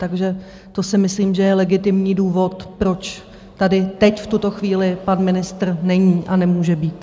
Takže to si myslím, že je legitimní důvod, proč tady teď v tuto chvíli pan ministr není a nemůže být.